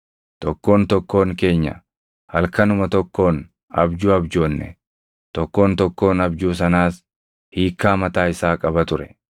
Tokkoon tokkoon keenya halkanuma tokkoon abjuu abjoonne; tokkoon tokkoon abjuu sanaas hiikkaa mataa isaa qaba ture.